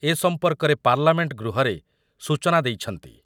ମହାଜନ ଏ ସମ୍ପର୍କରେ ପାର୍ଲାମେଣ୍ଟ ଗୃହରେ ସୂଚନା ଦେଇଛନ୍ତି ।